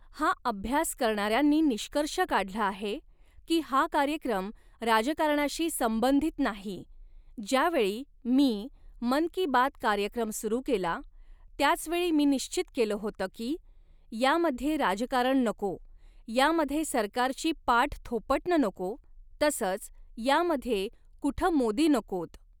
हा अभ्यास करणाऱ्यांनी निष्कर्ष काढला आहे की, हा कार्यक्रम राजकारणाशी संबंधित नाही, ज्यावेळी मी मन की बात कार्यक्रम सुरू केला, त्याचवेळी मी निश्चित केलं होतं की, यामध्ये राजकारण नको, यामध्ये सरकारची पाठ थोपटणं नको, तसंच यामध्ये कुठं मोदी नकोत.